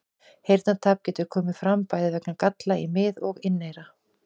Heyrnartap getur komið fram bæði vegna galla í mið- og inneyra.